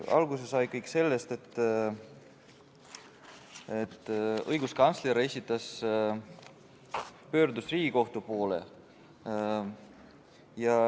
Alguse sai kõik sellest, et õiguskantsler pöördus Riigikohtu poole.